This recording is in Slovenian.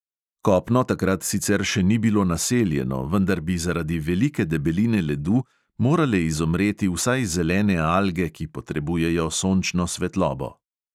Kopno takrat sicer še ni bilo naseljeno, vendar bi zaradi velike debeline ledu morale izumreti vsaj zelene alge, ki potrebujejo sončno svetlobo.